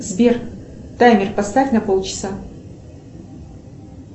сбер таймер поставь на полчаса